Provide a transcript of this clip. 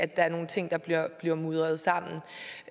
der er nogle ting der bliver mudret sammen